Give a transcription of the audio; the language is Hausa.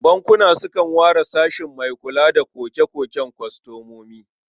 Bankuna sukan ware sashe mai kula da koke-koken kwastomomi.